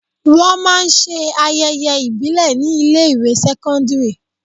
Wọn máa ń ṣe ayẹyẹ ìbílè ni ilé ìwé sẹ́kọ́ńdírì.